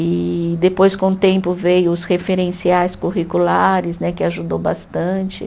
E depois, com o tempo, veio os referenciais curriculares né, que ajudou bastante.